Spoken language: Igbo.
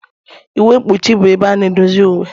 Uwe mkpuchi bụ ebe a na-edozi uwe.